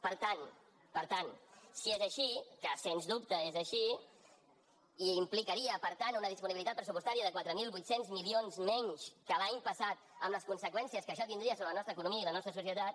per tant si és així que sens dubte és així i implicaria per tant una disponibilitat pressupostària de quatre mil vuit cents milions menys que l’any passat amb les conseqüències que això tindria sobre la nostra economia i la nostra societat